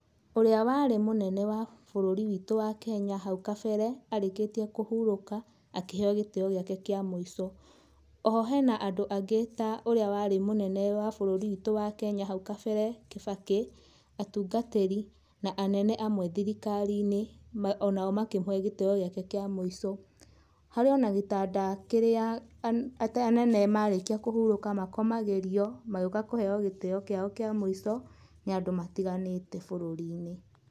Ũrĩa warĩ mũnene wa bũrũri witũ wa Kenya hau kabere arĩkĩtie kũhurũka akĩheo gĩtĩo gĩake kĩa mũico. O ho he na andũ angĩ ta ũrĩa warĩ mũnene wa bũruri witũ wa Kenya hau kabere, Kibaki, atungatĩri, na anene amwe thirikari-inĩ o nao makĩmũhe gĩtĩo gĩake kĩa mũico. Harĩ o na gĩtanda kĩrĩa anene marĩkia kũhurũka makomagĩrio magĩũka kũheo gĩtĩo kĩao kĩa mũico nĩ andũ matiganĩte bũrũri-inĩ.